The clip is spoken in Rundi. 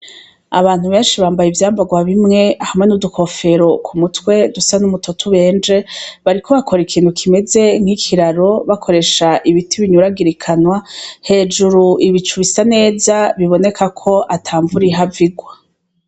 Abantu benshi bambaye ivyambarwa bimwe n’udukofero kumutwe dusa n’umutoto ubenje bariko bakora ikintu kimeze nk’ikiraro bakoresha ibiti binyuragirikanwa hejuru bisa neza biboneka ko atamvura ihava igwa.